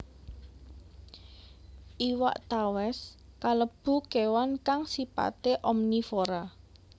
Iwak tawès kalebu kèwan kang sipaté omnivora